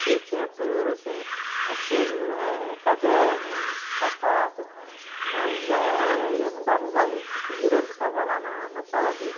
Que eu tinha tudo, assim, as coisas, eh caderno, sapato, mas eh eu não dava valor, porque direto eu estava lá na na sala dele.